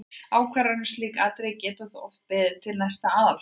Ákvarðanir um slík atriði geta þó oft beðið til næsta aðalfundar.